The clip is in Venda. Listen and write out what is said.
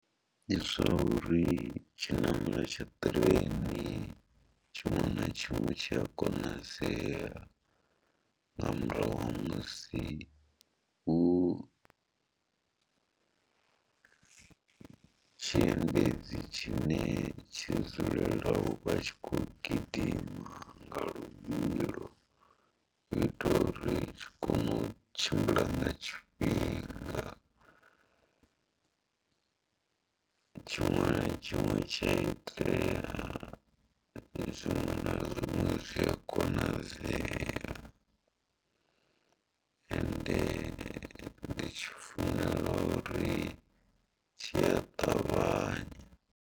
Ndi zwa uri tshinamelo tsha ṱireni tshiṅwe na tshiṅwe tshi a konadzea nga murahu ha musi hu tshiendedzi tshine tshi dzulela u vha tshi khou gidima nga luvhilo u itela uri ri kone u tshimbila nga tshifhinga tshiṅwe na tshiṅwe tshi a tea, zwiṅwe na zwiṅwe zwi a konadzea ende ndi tshi funela uri tshi a ṱavhanya.